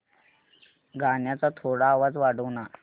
गाण्याचा थोडा आवाज वाढव ना